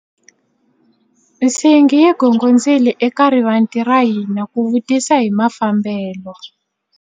Nsingi yi gongondzile eka rivanti ra hina ku vutisa hi mafambelo.